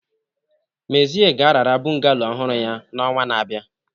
Mezie ga-arara bungalow ọhụrụ ya n'ọnwa na-abịa.